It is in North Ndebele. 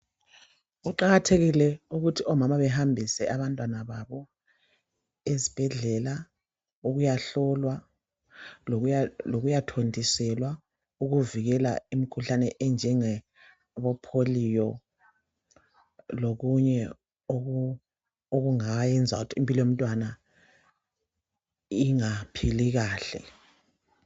Kuqakathekile ukuthi omama behambise abantwana esibhedlela ukuyahlolwa, lokuyathontiselwa ukuvikela imikhuhlane enjenge bopholiyo lokunye okungayenza ukuthi impilo yomntwana ingaphili kahle.